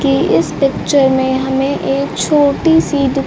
की इस पिक्चर में हमें एक छोटी सी दु--